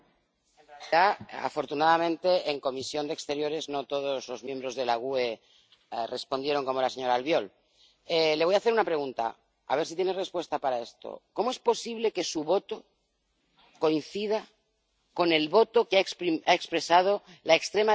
Afortunadamente, en la Comisión de Asuntos Exteriores no todos los miembros del Grupo GUE NGL respondieron como la señora Albiol. Le voy a hacer una pregunta, a ver si tiene respuesta para esto ¿cómo es posible que su voto coincida con el voto que ha expresado la extrema derecha de esta Cámara?